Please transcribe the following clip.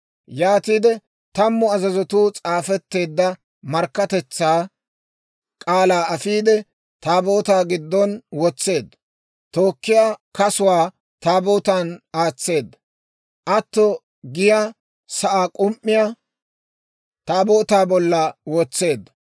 Yaatiide tammu azazatuu s'aafetteedda markkatetsaa k'aalaa afiide, Taabootaa giddon wotseedda; tookkiyaa kasuwaa Taabootan aatseedda; atto giyaa sa'aa k'um"iyaa Taabootaa bolla wotseedda.